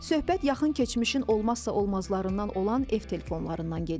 Söhbət yaxın keçmişin olmazsa-olmazlarından olan ev telefonlarından gedir.